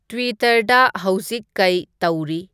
ꯇꯨꯋꯤꯇꯔꯗ ꯍꯧꯖꯤꯛ ꯀꯩ ꯇꯧꯔꯤ